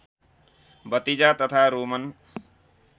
भतिजा तथा रोमन